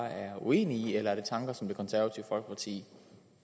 er uenig i eller er det tanker som det konservative folkeparti